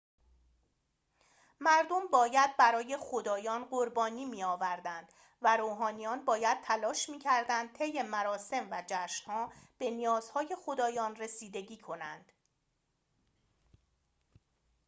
مردم باید برای خدایان قربانی می‌آوردند و روحانیان باید تلاش می‌کردند طی مراسم و جشن‌ها به نیازهای خدایان رسیدگی کنند